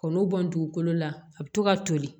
K'olu bɔ dugukolo la a bɛ to ka toli